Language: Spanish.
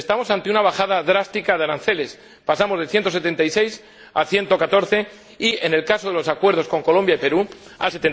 Estamos ante una bajada drástica de aranceles pasamos de 176 euros por tonelada a 114 y, en el caso de los acuerdos con Colombia y Perú, a